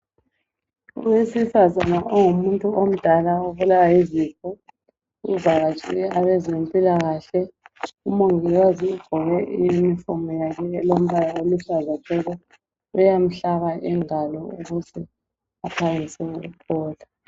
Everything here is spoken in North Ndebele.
Owesifazana ongumuntu omdala obulawa yizifo uvakatshele abazempilakahle. Umongikazi ugqoke iyunifomi yakibo elombala eluhlaza tshoko uyamhlaba ingalo ukwenzela ukuthi aphangise ukuphola.